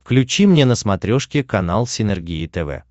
включи мне на смотрешке канал синергия тв